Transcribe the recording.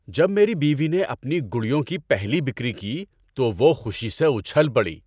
جب میری بیوی نے اپنی گڑیوں کی پہلی بِکری کی تو وہ خوشی سے اچھل پڑی ۔